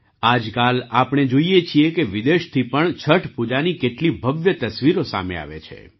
આજકાલ આપણે જોઈએ છીએ કે વિદેશોમાં થી પણ છઠ પૂજાની કેટલી ભવ્ય તસવીરો સામે આવે છે